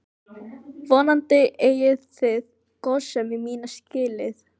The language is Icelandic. Vonandi eigið þið góðsemi mína skilið.